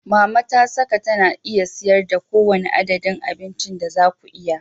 Mama ta saka tana iya siyar da kowane adadin abincin da za ku iya.